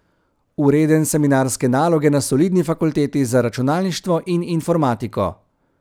Vreden seminarske naloge na solidni fakulteti za računalništvo in informatiko.